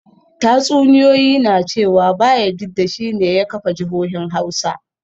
Tatsuniyoyi na cewa Bayajidda shi ne ya kafa jihohin Hausa